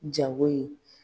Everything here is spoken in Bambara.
Jago ye